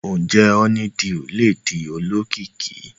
Oje honeydew ledi olókìkí